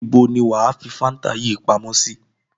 Níbo ni wà á fi Fanta yìí pamọ́ sí?